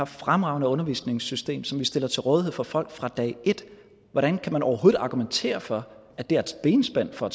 fremragende undervisningssystem som vi stiller til rådighed for folk fra dag et hvordan kan man overhovedet argumentere for at det er et benspænd for at